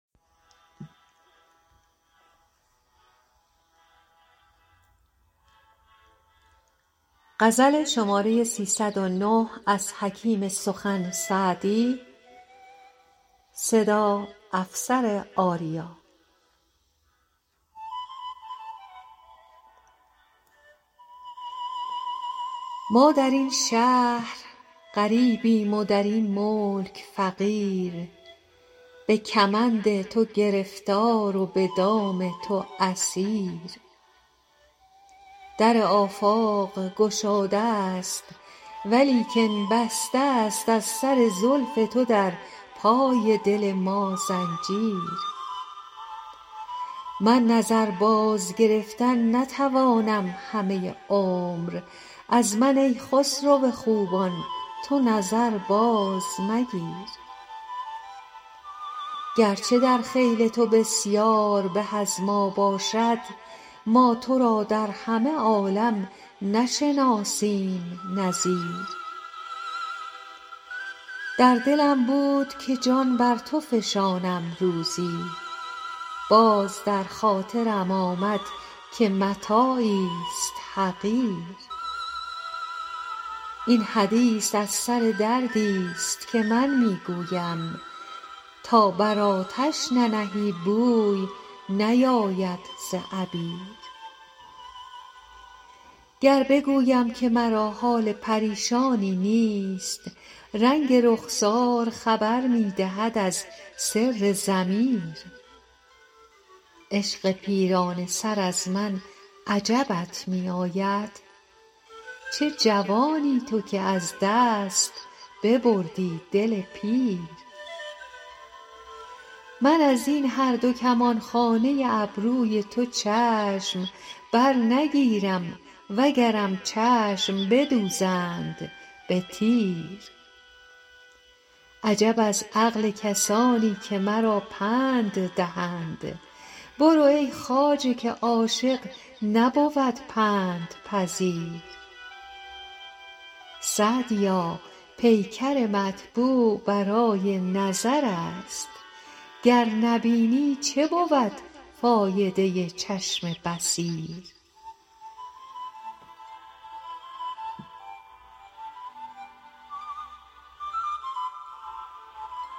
ما در این شهر غریبیم و در این ملک فقیر به کمند تو گرفتار و به دام تو اسیر در آفاق گشاده ست ولیکن بسته ست از سر زلف تو در پای دل ما زنجیر من نظر بازگرفتن نتوانم همه عمر از من ای خسرو خوبان تو نظر بازمگیر گرچه در خیل تو بسیار به از ما باشد ما تو را در همه عالم نشناسیم نظیر در دلم بود که جان بر تو فشانم روزی باز در خاطرم آمد که متاعیست حقیر این حدیث از سر دردیست که من می گویم تا بر آتش ننهی بوی نیاید ز عبیر گر بگویم که مرا حال پریشانی نیست رنگ رخسار خبر می دهد از سر ضمیر عشق پیرانه سر از من عجبت می آید چه جوانی تو که از دست ببردی دل پیر من از این هر دو کمانخانه ابروی تو چشم برنگیرم وگرم چشم بدوزند به تیر عجب از عقل کسانی که مرا پند دهند برو ای خواجه که عاشق نبود پندپذیر سعدیا پیکر مطبوع برای نظر است گر نبینی چه بود فایده چشم بصیر